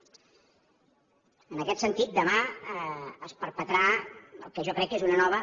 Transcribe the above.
en aquest sentit demà es perpetrà el que jo crec que és una nova